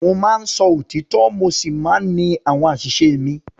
Mo máa ń sọ òtítọ́ mo sì máa ń ní àwọn àṣìṣe mi.